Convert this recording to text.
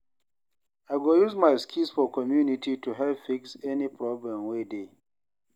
I go use my skills for community to help fix any problem wey dey.